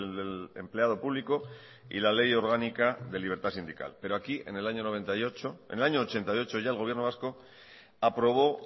del empleado público y la ley orgánica de libertad sindical pero aquí en el año mil novecientos ochenta y ocho ya el gobierno vasco aprobó